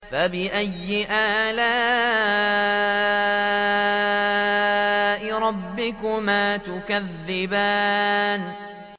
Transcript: فَبِأَيِّ آلَاءِ رَبِّكُمَا تُكَذِّبَانِ